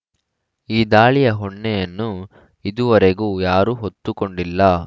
ಈ ದಾಳಿಯ ಹೊಣ್ಣೆಯನ್ನು ಇದುವರೆಗೂ ಯಾರೂ ಹೊತ್ತುಕೊಂಡಿಲ್ಲ